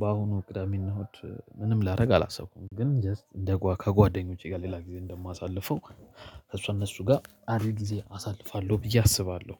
በአሁኑ ቅዳሜና እሁድ ምንም ላደርግ አላሰብኩም ግን ጀስት እንደ ጓ ከጓደኞቼ ጋር ሌላ ጊዜ እንደማሳልፈው። ከእነሱ ጋር አሪፍ ጊዜ አሳልፋለሁ ብዬ አስባለሁ